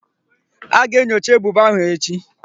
A ga-enyocha ebubo ahụ echi.